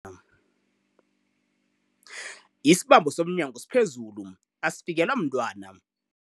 Isibambo somnyango siphezulu asifikelwa mntwana.